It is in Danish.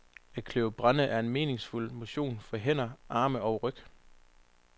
At kløve brænde er meningsfuld motion for hænder, arme og ryg.